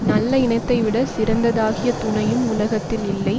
நல்ல இனத்தைவிடச் சிறந்ததாகிய துணையும் உலகத்தில் இல்லை